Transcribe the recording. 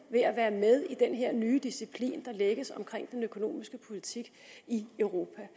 være med i den her nye disciplin der lægges omkring den økonomiske politik i europa